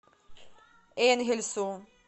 энгельсу